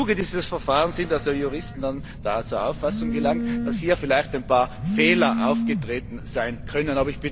Im Zuge dieses Verfahrens sind Juristen zu der Auffassung gelangt, dass hier vielleicht ein paar Fehler aufgetreten sein könnten.